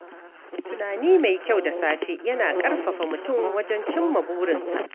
Tunani mai kyau da safe yana ƙarfafa mutum wajen cimma burinsa.